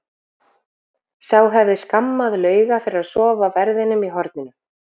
Sá hefði skammað Lauga fyrir að sofa á verðinum í horninu!